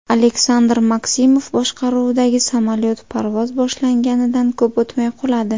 Aleksandr Maksimov boshqaruvidagi samolyot parvoz boshlanganidan ko‘p o‘tmay quladi.